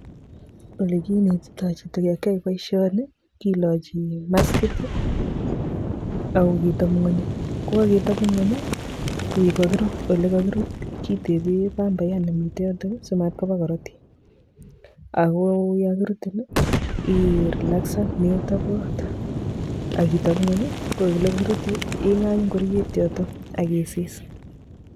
olekinetitoi chito yokiae boisioni kilochi maskit[ii] akoketopngonyi. Kokaketopngony koek kakirut ole kakirut kitebe pambayat nemite yotok[i] simatkoba korotik. Akoyokirutin i relaxan metobot akitopngony koole kakirutin ingany ngorioet yotok akisis